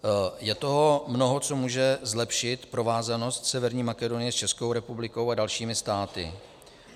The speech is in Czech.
Je toho mnoho, co může zlepšit provázanost Severní Makedonie s Českou republikou a dalšími státy.